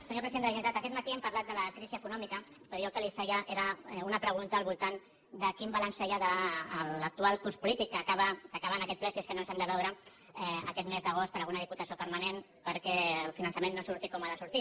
senyor president de la generalitat aquest matí hem parlat de la crisi econòmica però jo el que li feia era una pregunta al voltant de quin balanç feia de l’actual curs polític que acaba en aquest ple si és que no ens hem de veure aquest mes d’agost per alguna diputació permanent perquè el finançament no surti com ha de sortir